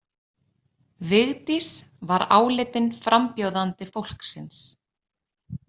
Vigdís var álitin frambjóðandi fólksins.